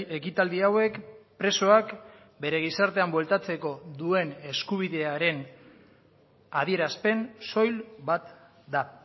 ekitaldi hauek presoak bere gizartean bueltatzeko duen eskubidearen adierazpen soil bat da